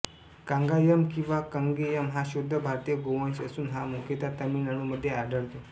कंगायम किंवा कंगेयम हा शुद्ध भारतीय गोवंश असून हा मुुख्यतः तामिळनाडू मध्ये आढळतो